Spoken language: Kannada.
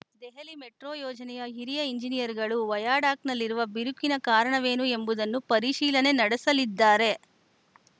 ದೆಹಲಿ ಮೆಟ್ರೋ ಯೋಜನೆಯ ಹಿರಿಯ ಎಂಜಿನಿಯರ್‌ಗಳು ವಯಾಡಾಕ್‌ನಲ್ಲಿರುವ ಬಿರುಕಿಗೆ ಕಾರಣವೇನು ಎಂಬುದನ್ನು ಪರಿಶೀಲನೆ ನಡೆಸಲಿದ್ದಾರೆ